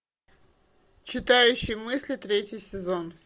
читающий мысли третий сезон